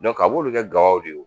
a b'olu kɛ gawaw de ye